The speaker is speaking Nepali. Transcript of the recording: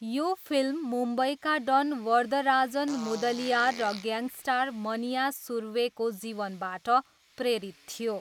यो फिल्म मुम्बईका डन वरदराजन मुदलियार र ग्याङ्स्टर मन्या सुर्वेको जीवनबाट प्रेरित थियो।